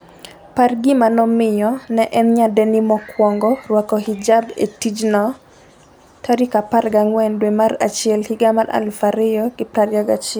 par gima nomiyo ne en nyadendi mokwongo rwako hijab e tijno14 dwe mar achiel higa mar 2021